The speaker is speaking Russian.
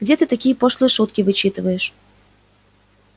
где ты такие пошлые шутки вычитываешь